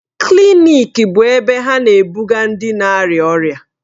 Klịnịkị bụ ebe ha na-ebuga ndị na-arịa ọrịa.